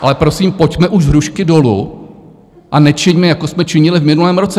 Ale prosím, pojďme už z hrušky dolů a nečiňme, jako jsme činili v minulém roce.